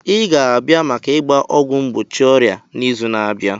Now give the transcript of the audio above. Ị ga-abịa maka ịgba ọgwụ mgbochi ọrịa n'izu na-abịa!